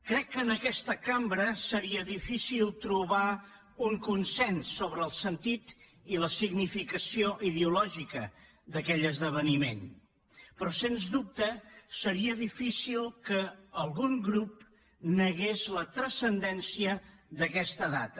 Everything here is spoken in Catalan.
crec que en aquesta cambra seria difícil trobar un consens sobre el sentit i la significació ideològica d’aquell esdeveniment però sens dubte seria difícil que algun grup negués la transcendència d’aquesta data